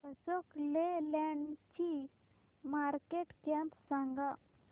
अशोक लेलँड ची market cap सांगा